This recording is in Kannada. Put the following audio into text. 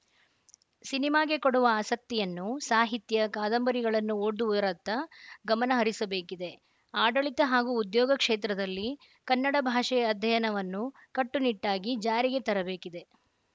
ಸಿನಿಮಾಗೆ ಕೊಡುವ ಆಸಕ್ತಿಯನ್ನು ಸಾಹಿತ್ಯ ಕಾದಂಬರಿಗಳನ್ನು ಓದುವರತ್ತ ಗಮನ ಹರಿಸಬೇಕಿದೆ ಆಡಳಿತ ಹಾಗೂ ಉದ್ಯೋಗ ಕ್ಷೇತ್ರದಲ್ಲಿ ಕನ್ನಡ ಭಾಷೆಯ ಅಧ್ಯಯನವನ್ನು ಕಟ್ಟು ನಿಟ್ಟಾಗಿ ಜಾರಿಗೆತರಬೇಕಿದೆ